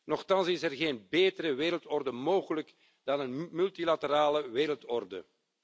Nochtans is er geen betere wereldorde mogelijk dan een multilaterale wereldorde.